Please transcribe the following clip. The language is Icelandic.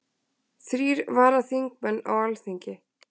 Þrír varaþingmenn á Alþingi